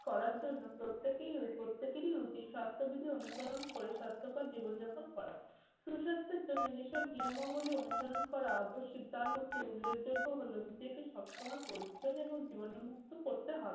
করার জন্য প্রত্যেকেই প্রত্যেকেরই উচিত স্বাস্থ্যবিধির অনুসরণ করে স্বাস্থ্যকর জীবন যাপন করা। সুস্বাস্থ্যের জন্য যেসব নিয়মাবলী অনুসরণ করা আবশ্যিক তার মধ্যে উল্লেখযোগ্য হল নিজেকে সবসময় পরিচ্ছন্ন এবং জীবাণুমুক্ত করতে হবে।